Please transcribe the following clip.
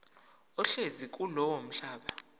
ohlezi kulowo mhlaba